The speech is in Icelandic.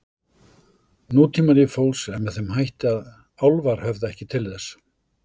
Nútímalíf fólks er með þeim hætti að álfar höfða ekki til þess.